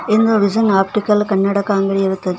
ನಿಮ್ಮ vision optical ಕನ್ನಡಕ ಇರುತ್ತದೆ.